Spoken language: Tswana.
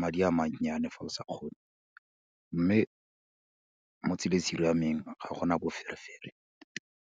madi a mannyane fa o sa kgone, mme mo tseleng e siameng ga gona boferefere.